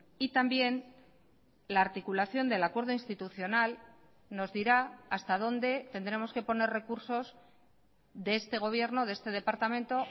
y también la articulación del acuerdo institucional nos dirá hasta dónde tendremos que poner recursos de este gobierno de este departamento